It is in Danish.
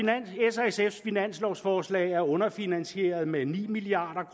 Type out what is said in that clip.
s finanslovforslag er underfinansieret med ni milliard